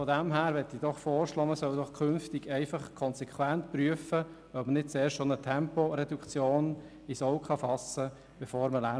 Daher schlage ich vor, dass man künftig konsequent, bevor man Lärmschutzwände aufstellt, prüft, ob eine Temporeduktion sinnvoll wäre.